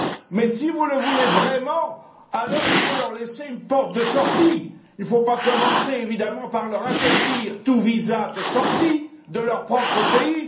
Mais si vous le voulez vraiment, alors il faut leur laisser une porte de sortie. Il ne faut pas commencer par leur interdire tout visa de sortie de leur propre pays.